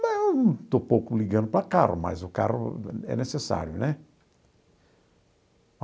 Não, estou pouco ligando para carro, mas o carro é necessário, né?